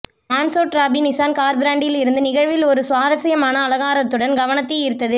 மான்சோட் ராபி Nissan car பிராண்டில் இருந்து நிகழ்வில் ஒரு சுவாரஸ்யமான அலங்காரத்துடன் கவனத்தை ஈர்த்தது